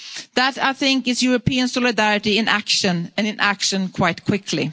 support to Greece. That, I think, is European solidarity in action and in